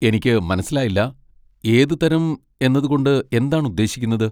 എനിക്ക് മനസ്സിലായില്ല, 'ഏത് തരം' എന്നത് കൊണ്ട് എന്താണ് ഉദ്ദേശിക്കുന്നത്?